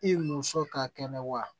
I muso ka kɛnɛ wa